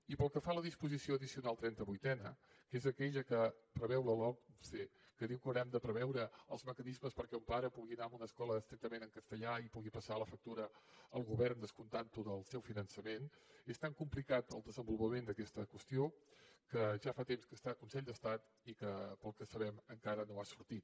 i pel que fa a la disposició addicional trentavuitena que és aquella que preveu la lomce que diu que haurem de preveure els mecanismes perquè un pare pugui anar a una escola estrictament en castellà i pugui passar la factura al govern descomptantho del seu finançament és tan complicat el desenvolupament d’aquesta qüestió que ja fa temps que està al consell d’estat i pel que sabem encara no ha sortit